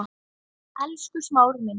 Elsku Smári minn.